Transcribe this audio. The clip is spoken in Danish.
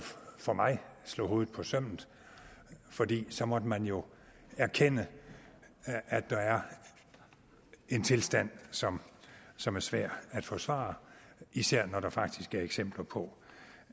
for mig slog hovedet på sømmet fordi så måtte man jo erkende at der er en tilstand som som er svær at forsvare især når der faktisk er eksempler på